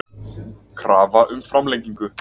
Krafa um framlengingu